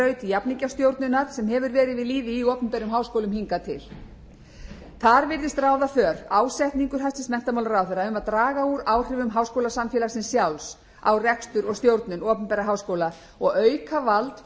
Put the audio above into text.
verið við lýði í opinberum háskólum hingað til þar virðist ráða för ásetningur hæstvirtur menntamálaráðherra um að draga úr áhrifum háskólasamfélagsins sjálfs á rekstur og stjórnun opinberra háskóla og auka vald